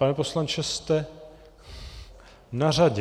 Pane poslanče, jste na řadě.